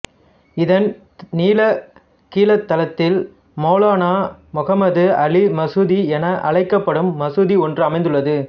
இதன் நிலக்கீழ்த் தளத்தில் மௌலானா முகமது அலி மசூதி என அழைக்கப்படும் மசூதி ஒன்றும் அமைந்துள்ளது